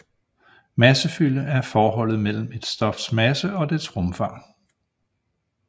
Massefylde er forholdet mellem et stofs masse og dets rumfang